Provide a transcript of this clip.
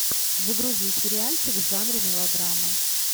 загрузи сериальчик в жанре мелодрамы